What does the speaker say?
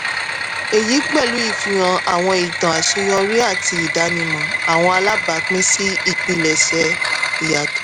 èyí pẹ̀lú ìfihàn àwọn ìtàn àṣeyọrí àti ìdánimọ́ àwọn alábàápín sí ìpilẹ̀ṣẹ̀ ìyàtọ̀.